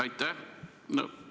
Aitäh!